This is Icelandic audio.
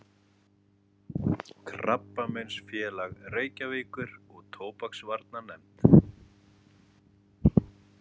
Krabbameinsfélag Reykjavíkur og Tóbaksvarnanefnd.